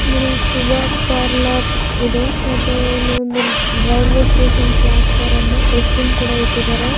ಇಲ್ಲಿ ಸುಧ ಪಾರ್ಲರ ಇದೆ ಮತ್ತೆ ಇಲ್ಲಿ ಒಂದು railway station platform dustbin ಕೂಡ ಇಟ್ಟಿದರೆ.